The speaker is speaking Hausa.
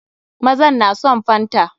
Mazan na son fanta.